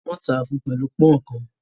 Wọ́n tà fun pẹ̀lú pọ̀n-ọ́n kan